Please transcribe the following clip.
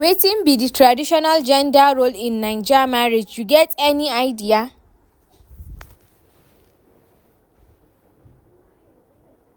Wetin be di traditional gender role in Naija marriage, you get any idea?